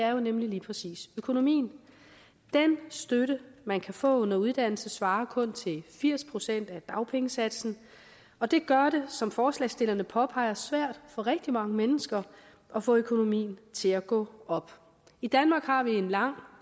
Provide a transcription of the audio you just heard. jo nemlig lige præcis økonomien den støtte man kan få under uddannelse svarer kun til firs procent af dagpengesatsen og det gør det som forslagsstillerne påpeger svært for rigtig mange mennesker at få økonomien til at gå op i danmark har vi en lang